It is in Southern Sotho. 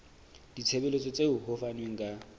ditshebeletso tseo ho fanweng ka